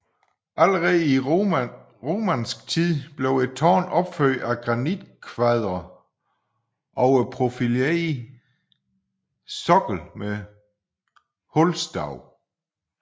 Allerede i romansk tid blev et tårn opført af granitkvadre over profileret sokkel med hulstav